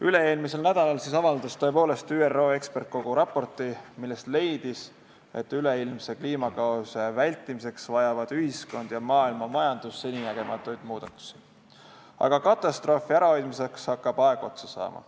Üle-eelmisel nädalal avaldas ÜRO eksperdikogu tõepoolest raporti, milles leiti, et üleilmse kliimakaose vältimiseks vajavad ühiskond ja maailmamajandus seninägematuid muudatusi, aga katastroofi ärahoidmiseks hakkab aeg otsa saama.